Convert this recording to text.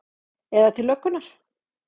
Eða til löggunnar?